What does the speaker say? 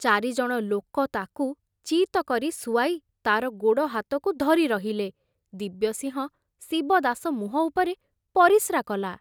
ଚାରିଜଣ ଲୋକ ତାକୁ ଚିତ କରି ଶୁଆଇ ତାର ଗୋଡ଼ହାତକୁ ଧରି ରହିଲେ, ଦିବ୍ୟସିଂହ ଶିବଦାସ ମୁହଁ ଉପରେ ପରିସ୍ରା କଲା।